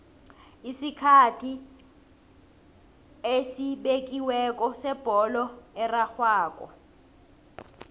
isikhathi esibekiweko sebholo erarhwako